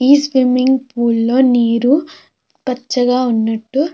ఈ swimming pool లో నీరు పచ్చగా ఉన్నట్టు మనకి తెలుసతుందది.